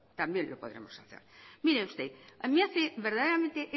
también lo podremos hacer mire usted